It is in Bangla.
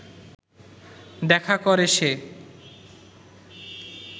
দেখা করে সে